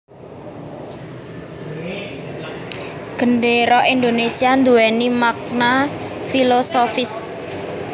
Gendéra Indonésia nduwèni makna filosofis